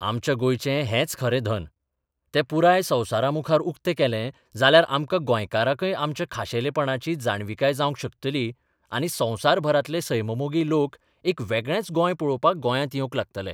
आमच्या गोंयचें हेंच खरें धन तें पुराय संवसारामुखार उक्ते केलें जाल्यार आमकां गोंयकारांकय आमच्या खाशेलेपणाची जाणविकाय जावंक शकतली आनी संवसारभरांतले सैममोगी लोक एक वेगळेंच गोंय पळोवपाक गोंयांत येवंक लागतले.